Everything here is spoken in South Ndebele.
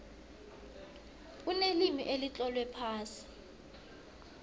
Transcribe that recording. kunelimi elitlolwe phasi